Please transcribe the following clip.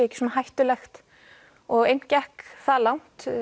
ekki svona hættulegt og einn gekk það langt